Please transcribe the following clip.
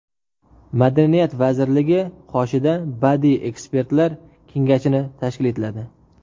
Madaniyat vazirligi qoshida Badiiy ekspertlar kengashini tashkil etiladi.